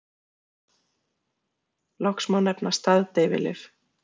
Loks má nefna staðdeyfilyf.